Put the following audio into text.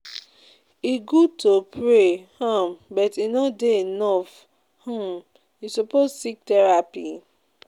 E good to pray um but e no dey enough, um you suppose seek therapy.